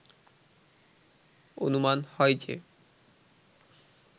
অনুমান হয় যে